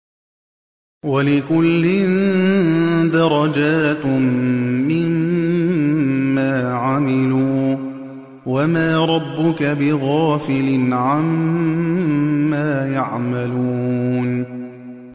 وَلِكُلٍّ دَرَجَاتٌ مِّمَّا عَمِلُوا ۚ وَمَا رَبُّكَ بِغَافِلٍ عَمَّا يَعْمَلُونَ